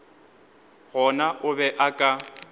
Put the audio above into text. gona o be a ka